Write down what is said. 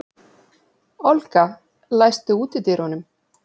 Olga, læstu útidyrunum.